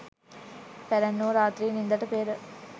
පැරැන්නෝ රාත්‍රී නින්දට පෙර